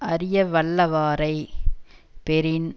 அறியவல்வாரைப் பெறின்